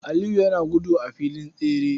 Aliyu yana gudu a filin tsere.